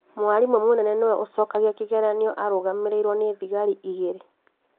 Mwarimũ mũnene nĩwe ũcokagia kĩgeranio arũgamĩrĩirwo nĩ thigari igĩrĩ